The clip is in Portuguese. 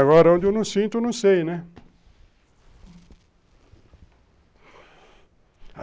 Agora, aonde eu não sinto, eu não sei, né?